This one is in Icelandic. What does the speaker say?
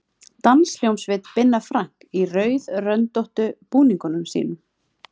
Danshljómsveit Binna Frank í rauðröndóttu búningunum sínum.